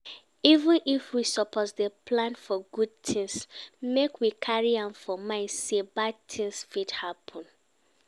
Even if we suppose dey plan for good things, make we carry am for mind sey bad thing fit happen